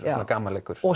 gamanleikur